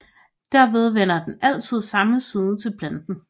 Derved vender den altid samme side til planeten